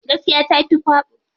Gaskiya tafi kwabo.